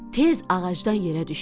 Tez ağacdan yerə düşdü.